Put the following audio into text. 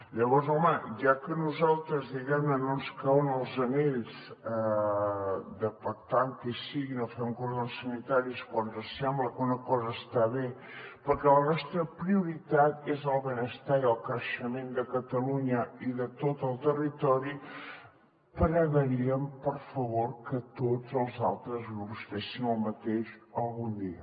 llavors home ja que a nosaltres no ens cauen els anells per pactar amb qui sigui no fem cordons sanitaris quan ens sembla que una cosa està bé perquè la nostra prioritat és el benestar i el creixement de catalunya i de tot el territori pregaríem per favor que tots els altres grups fessin el mateix algun dia